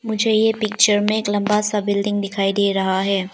मुझे ये पिक्चर मे एक लंबा सा बिल्डिंग दिखाई दे रहा है।